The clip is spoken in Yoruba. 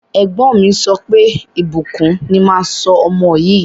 Ẹ̀gbọ́n mi sọ pé, Ìbùkún ni máa sọ ọmọ yìí.